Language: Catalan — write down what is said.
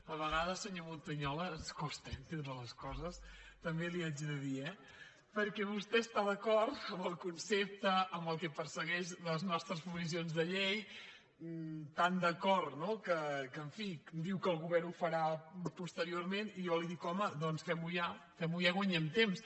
a vegades senyor montañola ens costa entendre les coses també li haig de dir eh perquè vostè està d’acord amb el concepte amb el que persegueixen les nostres proposicions de llei tan d’acord que en fi diu que el govern ho farà posteriorment i jo li dic home doncs fem ho ja i guanyem temps